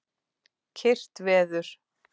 Kyrrt veður.